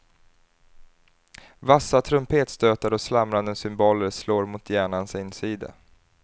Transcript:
Vassa trumpetstötar och slamrande cymbaler slår mot hjärnans insida.